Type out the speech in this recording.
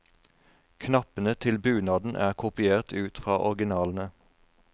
Knappene til bunaden er kopiert ut fra originalene.